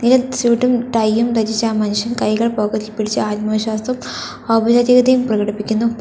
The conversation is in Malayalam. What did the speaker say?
സ്യൂട്ടും ടൈയും ധരിച്ച് ആ മനുഷ്യൻ കൈകൾ പോക്കറ്റ് ഇൽ പിടിച്ച് ആത്മവിശ്വാസവും ഔപചാരികതയും പ്രകടിപ്പിക്കുന്നു.